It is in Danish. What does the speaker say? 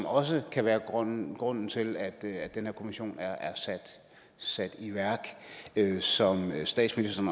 også kan være grunden grunden til at den her kommission er sat i værk som det statsministeren